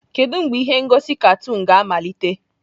Kedu mgbe ihe ngosi katuunu ga-amalite?